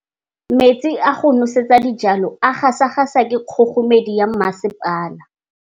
Metsi a go nosetsa dijalo a gasa gasa ke kgogomedi ya masepala.